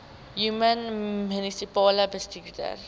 human munisipale bestuurder